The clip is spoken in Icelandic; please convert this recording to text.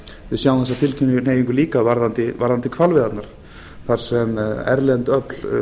við sjáum þessa tilhneigingu líka varðandi hvalveiðarnar þar sem erlend öfl